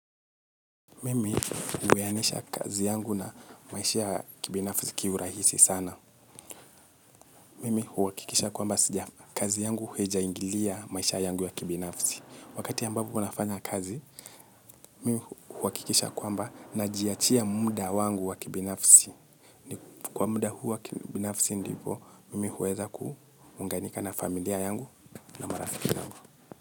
Mimi huwianisha kazi yangu na maisha ya kibinafisi kiurahisi sana. Mimi huhakikisha kwamba kazi yangu haija ingilia maisha yangu ya kibinafisi. Wakati ambapo wanafanya kazi, mimi huhakikisha kwamba najiachia muda wangu wa kibinafisi. Kwa muda huu wa kibinafisi ndipo, mimi huweza kuunganika na familia yangu na marafiki yangu.